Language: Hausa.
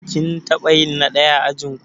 Kin taɓa yin na ɗaya a ajinku?